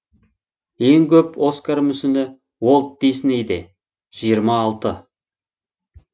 ең көп оскар мүсіні уолт диснейде жиырма алты